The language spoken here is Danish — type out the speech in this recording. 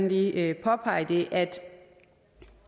lige påpege det at